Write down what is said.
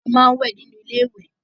A máa ń wẹ̀ nínú ilé ìwé